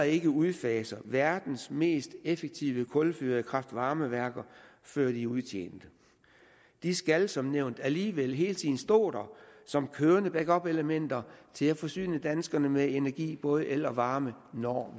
ikke udfaser verdens mest effektive kulfyrede kraft varme værker før de udtjent de skal som nævnt alligevel hele tiden stå her som kørende backupelementer til at forsyne danskerne med energi både el og varme når